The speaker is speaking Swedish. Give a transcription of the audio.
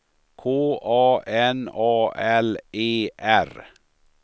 K A N A L E R